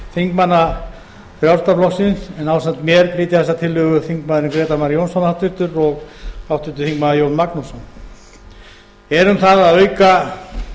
þingmanna frjálslynda flokksins en ásamt mér flytja þessa tillögu háttvirts þingmanns grétar mar jónsson og háttvirtur þingmaður jón magnússon er um það að auka